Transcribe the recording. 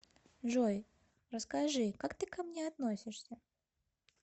джой расскажи как ты ко мне относишься